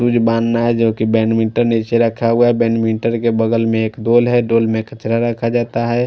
जोकि बेडमिंटन निचे रखा हुआ है बेडमिंटन के बगल में एक बोल है बोल में कचरा रखा जाता है।